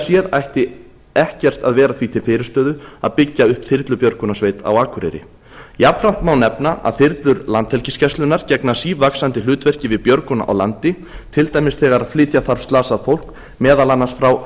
séð ætti ekkert að vera því til fyrirstöðu að byggja upp þyrlubjörgunarsveit á akureyri jafnframt má nefna að þyrlur landhelgisgæslunnar gegna sívaxandi hlutverki við björgun á landi til dæmis þegar flytja þarf slasað fólk meðal annars frá